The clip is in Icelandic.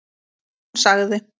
Hún sagði